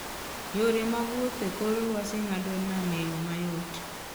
Yore mag wuoth e kor lwasi ng'ado nam e yo mayot.